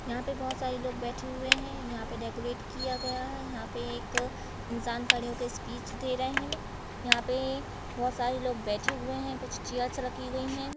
यहाँ पे बहोत सारे लोग बैठे हुएँ हैं। यहाँ पे डेकोरेट किया गया है। यहाँ पे एक इंसान खड़े होके स्पीच दे रहे हैं। यहाँ पे बहोत सारे लोग बैठे हुएँ हैं। कुछ चेयर्स रखीं गयीं है।